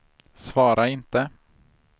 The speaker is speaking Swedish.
svara inte